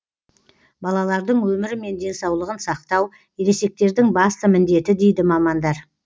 балалардың өмірі мен денсаулығын сақтау ересектердің басты міндеті дейді мамандар